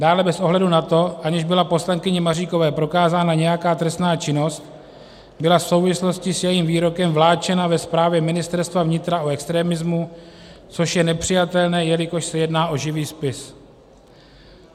Dále bez ohledu na to, aniž byla poslankyni Maříkové prokázána nějaká trestná činnost, byla v souvislosti s jejím výrokem vláčena ve zprávě Ministerstva vnitra o extremismu, což je nepřijatelné, jelikož se jedná o živý spis.